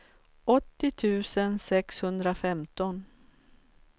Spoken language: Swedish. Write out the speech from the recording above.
åttio tusen sexhundrafemton